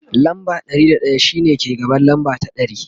lamba Ɗari da daya shine ke gaban lamba ta ɗari